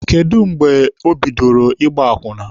Kedụ mgbe o bidoro ịgba akwụna?